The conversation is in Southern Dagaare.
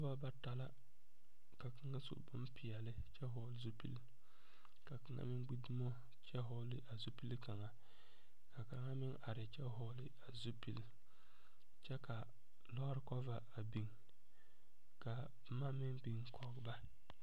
Noba bata la ka kaŋa su bonpɛɛle kyɛ vɔgeli zupili ka kaŋa meŋ gbi dumo kyɛ vɔgeli a zupili kaŋa ,ka kaŋa meŋ are a kyɛ vɔgeli a zupili kaŋa kyɛ ka lɔɔre kober a biŋ ka boma meŋ biŋ koge ba.